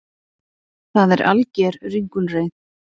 Það er alger ringulreið